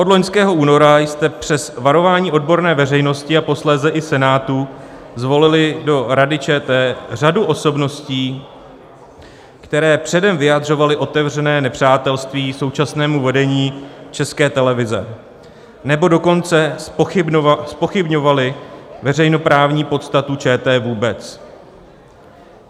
Od loňského února jste přes varování odborné veřejnosti a posléze i Senátu zvolili do Rady ČT řadu osobností, které předem vyjadřovaly otevřené nepřátelství současnému vedení České televize, nebo dokonce zpochybňovaly veřejnoprávní podstatu ČT vůbec.